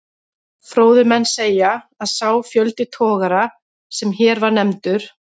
Fróðir menn segja, að sá fjöldi togara, sem hér var nefndur